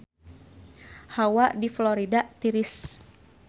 Hawa di Florida tiris